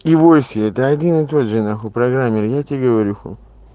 ивоси это один и тот же нахуй программер я тебе говорю